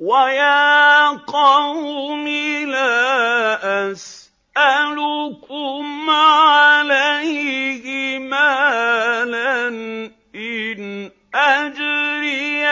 وَيَا قَوْمِ لَا أَسْأَلُكُمْ عَلَيْهِ مَالًا ۖ إِنْ أَجْرِيَ